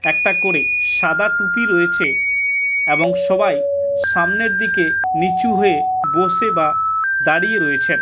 একটা করে সাদা টুপি রয়েছে এবং সবাই সামনের দিকে নিচু হয়ে বসে বা দাঁড়িয়ে রয়েছেন।